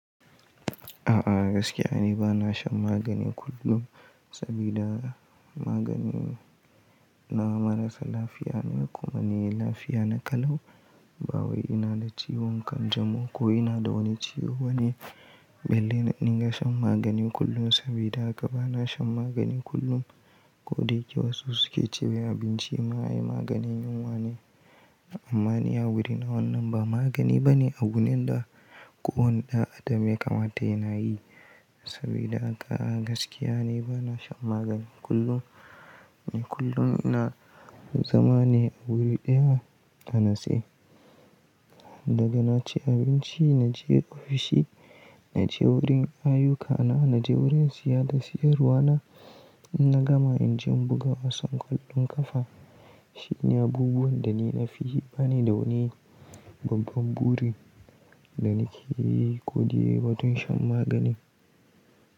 A'a gaskiya ne bana shan magani kullum sabida magani na marasa lafiya ne kuma ni lafiya na kala'u ba wai ina da ciwon kanjamau ko ina da wani ciwo bane, belle na dinga shan magani kullum sabida haka bana shan magani kullum ko da yake wasu suke cewa abinci ma ai maganin yunwane. Amma ni a wurina wannan ba magani bane a gunin da ko wani ɗan adam ya kamata yana yi. Sabida haka a gaskiya ne bana shan magani kullum, kullum na zama ne a wuri ɗaya na natse. Daga na ci abinci na je ofishi, na je wurin ayyukana, na je wurin siya da siyarwa na, na gama in je in buga wasan kwallon kafa. Shi ne abubuwan da ni na fi yi bana yi da wani babban buri da nake yi ko dai batun shan magani.